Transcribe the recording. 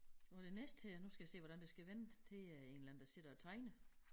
Og den næste her nu skal jeg se hvordan det skal vende det er en eller anden der sidder og tegner